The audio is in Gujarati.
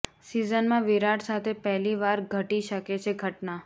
સિઝનમાં વિરાટ સાથે પહેલી વાર ઘટી શકે છે ઘટના